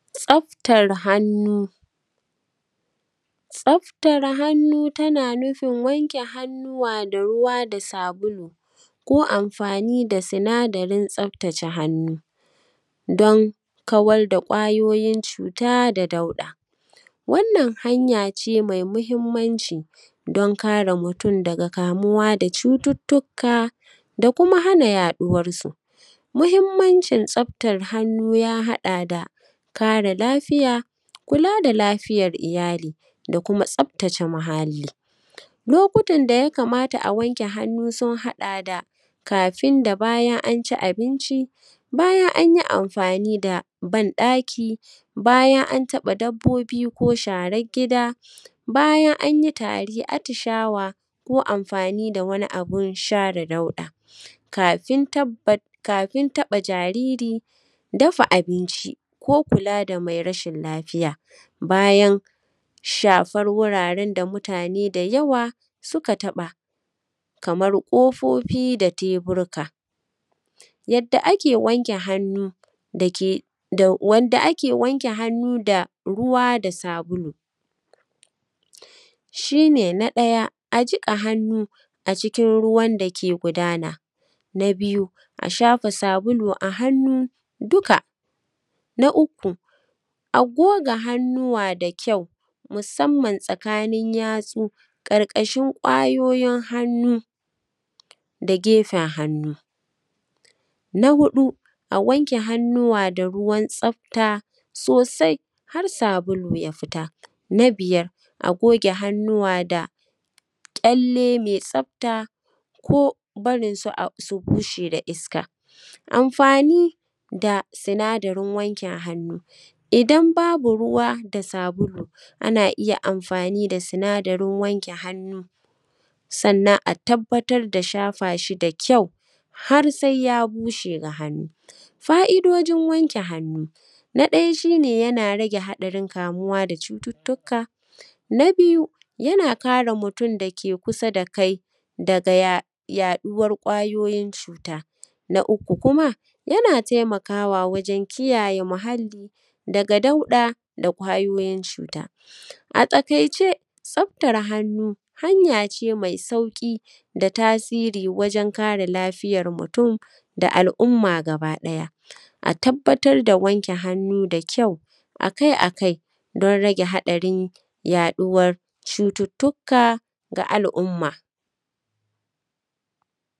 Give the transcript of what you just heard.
Tsaftar hannu. Tsaftar hannu yana nufin wanke hannuwa da ruwa da sabulu ko anfani da sinadarin saftace hannu dun kawar da kwayoyi cuta wannan hanyace mai mahinmanci don kare mutum daga kamuwa daga cututtuka da kuma hana yaɗuwansu. Muhinmancin tsaftan hannu ya haɗa da kare lafiya, kula da lafiyan iyali da kuma tsaftace muhalli. Lokutan da suka kamata a wanke hannu sun haɗa da kafin da bayan an wanke hannu, bayan an yi anfani da banɗaki bayan an taɓa dabbobi ko sharan gida, bayan an yi tari, atishsawa ko anfani da wani abun tara dauɗa kafin taɓa jariri, dafa abinci ko kula da mara lafiya, bayan shafan wuraren da yawa suka taɓa kaman ƙofofi da teburika. Yadda ake wanke hannu da ruwa da sabulu shi ne na ɗaya jiƙa hannu a cikin ruwa da yake gudana, na biyu a shafa sabulu a hannu dukka, na uku a goge hannuwa da kyau musanman tsakanin yatsu karƙashin kwayoyin hannu da gefen hannu. Na huɗu a wanke hannuwa da ruwan tsafta sosai har sabulu, na biyar a goge hannuwa da ƙyalle me tsafta ko barinsu su bushed a iska. Anfani da sinadarin wanke hannu idan babu ruwa da sabulu, ana iya anfani da sinadarin wanke hannu sannan a tabbatar da shafa shi da kyau har sai ya bushe. Fa’idojin wanke hannu na ɗaya shi ne yama rage haɗarin kamuwa da cututtuka, na biyu na kare mutum dake kusa da kai daga yaɗuwan kwayoyin cuta, na uku kuma yana taimakawa wajen kiyaye muhalli daga dauɗa da kwayoyin cuta. A taƙaice tsaftan hannu hanya ce me sauƙi da tasiri wajen kare lafiyar mu da al’umma gabaɗaya, a tabbatar da wanke hannu da kyau don rage haɗarin yayin haɗuwar cututtuka ga al’umma.